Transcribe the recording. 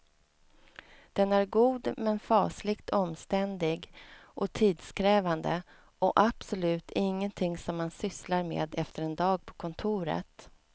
Den är god men fasligt omständlig och tidskrävande och absolut ingenting som man sysslar med efter en dag på kontoret.